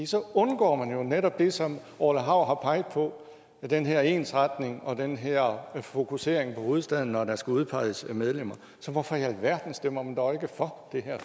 så undgår man jo netop det som orla hav har peget på med den her ensretning og den her fokusering på hovedstaden når der skal udpeges medlemmer så hvorfor i alverden stemmer man dog ikke for det her